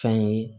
Fɛn ye